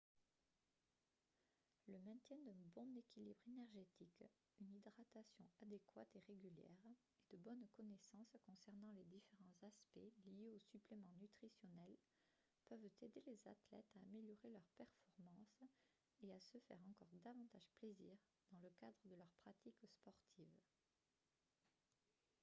le maintien d'un bon équilibre énergétique une hydratation adéquate et régulière et de bonnes connaissances concernant les différents aspects liés aux suppléments nutritionnels peuvent aider les athlètes à améliorer leurs performances et à se faire encore davantage plaisir dans le cadre de leur pratique sportive